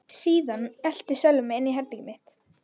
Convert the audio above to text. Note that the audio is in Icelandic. Síðan elti Sölvi mig inn í herbergið mitt.